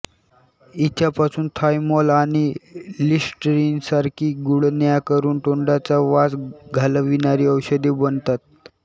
हिच्यापासून thymol आणि लिस्टरिनसारखी गुळण्या करून तोंडाचा वास घालविणारी औषधे बनतात